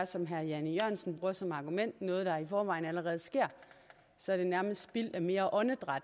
som herre jan e jørgensen bruger som argument noget der i forvejen allerede sker så er det nærmest spild af mere åndedræt